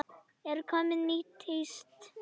Er komið nýtt tíst?